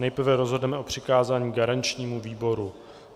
Nejprve rozhodneme o přikázání garančnímu výboru.